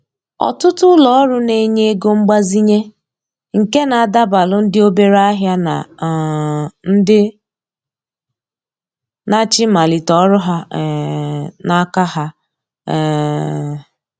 Ọtụtụ ulo ọrụ na-enye ego mgbazinye nke na adabalu ndị obere ahịa na um ndị na-achọ ịmalite ọrụ ha um n’aka ha. um